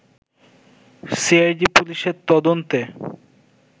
CID পুলিশের তদন্তে